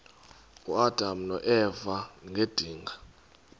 uadam noeva ngedinga